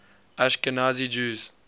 ashkenazi jews